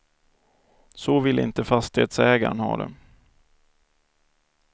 Så ville inte fastighetsägaren ha det.